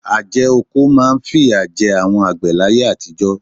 Àjẹ́oko máa ń fìyà jẹ àwọn àgbẹ̀ láyé àtijọ́.